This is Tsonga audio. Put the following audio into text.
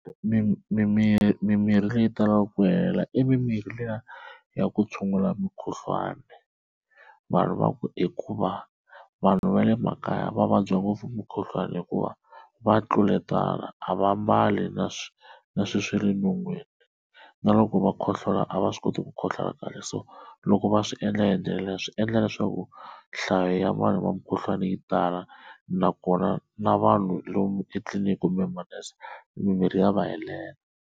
mimirhi leyi talaka ku hela i mimirhi liya ku tshungula mukhuhlwani vanhu va ku hikuva vanhu va le makaya va vabya ngopfu mukhuhlwani hikuva va tluletana a va mbali na na swi swale non'weni. Loko va khohlola a va swi koti ku khohlola kahle so loko va swi endla hi ndlela leyo swi endla leswaku nhlayo ya vanhu va mukhuhlwana yi tala nakona na vanhu lomu etliliniki kumbe manese mimirhi ya va helela.